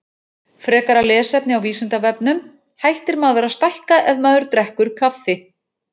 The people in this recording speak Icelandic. Frekara lesefni á Vísindavefnum: Hættir maður að stækka ef maður drekkur kaffi?